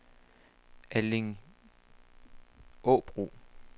Allingåbro